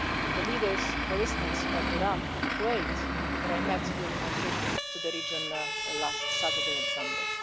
the leaders, for instance of Iraq and Kuwait, whom I met during my trip to the region last Saturday and Sunday.